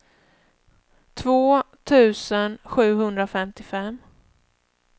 två tusen sjuhundrafemtiofem